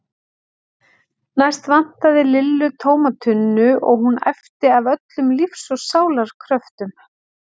Næst vantaði Lillu tóma tunnu og hún æpti af öllum lífs og sálar kröftum